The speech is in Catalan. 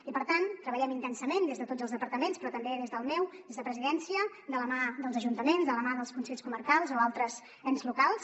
i per tant treballem intensament des de tots els departaments però també des del meu des del de la presidència de la mà dels ajuntaments de la mà dels consells comarcals o altres ens locals